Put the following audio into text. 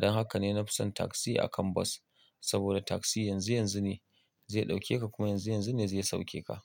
Don haka ne na fi son taksi akan bas saboda taksi yanzu yanzu ne zai ɗauke ka kuma yanzu yanzu ne zai sauke ka.